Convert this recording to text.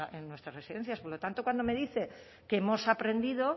en nuestras residencias por lo tanto cuando me dice que hemos aprendido